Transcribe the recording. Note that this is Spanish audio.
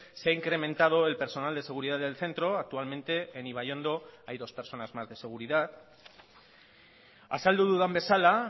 se ha incrementado el personal de seguridad del centro actualmente en ibaiondo hay dos personas más de seguridad azaldu dudan bezala